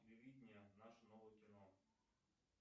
телевидение наше новое кино